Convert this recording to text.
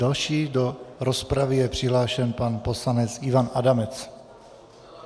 Další do rozpravy je přihlášen pan poslanec Ivan Adamec.